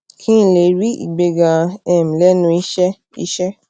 kí n lè rí ìgbéga um lénu iṣé iṣé